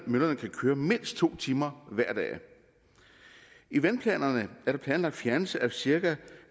møllerne kan køre mindst to timer hver dag i vandplanerne er der planlagt fjernelse af cirka